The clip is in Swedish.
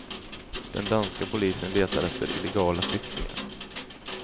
Den danska polisen letar efter illegala flyktingar.